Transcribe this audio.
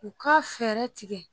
U k'a fɛɛrɛ tigɛ.